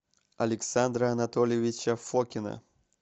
александра анатольевича фокина